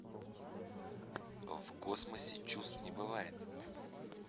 в космосе чувств не бывает